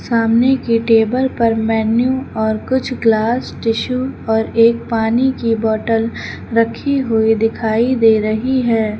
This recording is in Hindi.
सामने की टेबल पर मेनू और कुछ ग्लास टिशु और एक पानी की बोतल रखी हुई दिखाई दे रही है।